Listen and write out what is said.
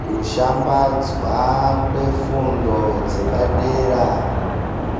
Kushambadzwa kwefundo dzepadera